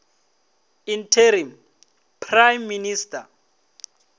interim prime minister